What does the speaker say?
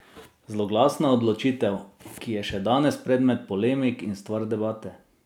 Zloglasna odločitev, ki je še danes predmet polemik in stvar debate.